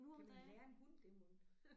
Kan man lære en hund det mon?